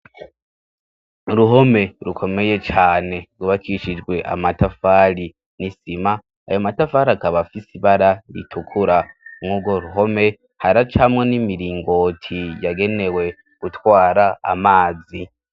Uruhome rukomeye cane gubakishijwe amatafari n'isima, ayo matafari akaba afise ibara ritukura nk'uko ruhome haracamo n'imiringoti yagenewe gutwara amazi.